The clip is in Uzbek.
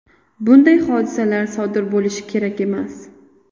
Bunday hodisalar sodir bo‘lishi kerak emas.